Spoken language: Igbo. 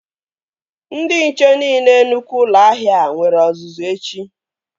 Ndị nche niile nnukwu ụlọ ahịa a nwere ọzụzụ echi